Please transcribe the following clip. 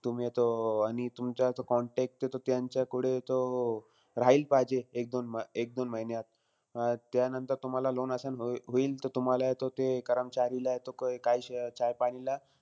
तुम्ही हे तो, अं आणि तुमचा तो contact हे तो त्यांच्याकडे तो राहील पाहिजे, एक-दोन एक-दोन महिन्यात. त्यानंतर तुम्हाला loan assign हो होईल. त तुम्हालाय तो ते कर्मचारीलाय तो चाय-पानीला,